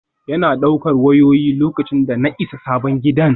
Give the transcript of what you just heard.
Yana ɗaukar wayoyi, lokacin da na isa sabon gidan.